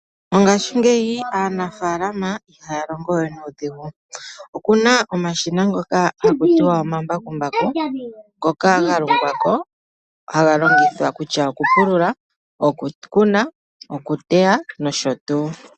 Mongashingeyi aanafalama ihaya longo we nuudhigu. Okuna omashina ngoka haku tiwa omambakumbaku, ngoka ga longwa ko haga longithwa kutya okupulula, okukuna, okuteya nosho tuu.